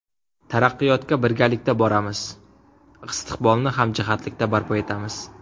Taraqqiyotga birgalikda boramiz, istiqbolni hamjihatlikda barpo etamiz!